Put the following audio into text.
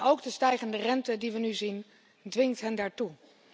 Ook de stijgende rente die we nu zien dwingt hen daartoe.